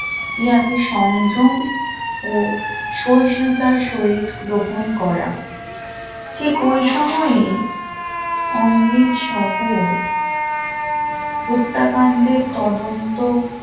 পিয়াকে সংযম ও সৈন্যতার শরীর গ্রহণ করা ঠিক ওই সময়ে অমৃতসহ হত্যাকাণ্ডের তদন্ত